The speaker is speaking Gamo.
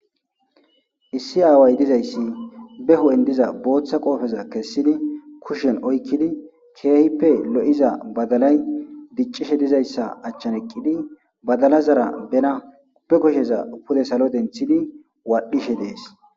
Issi aaway dizayssi be ho7en diza booththa qoofeza kessidi kushen oykkidi keehippe lo7iza badalay diccishe dizayssa achchan eqqidi badala zara bena pe kosheza pule salo denthidi waadhishe dees.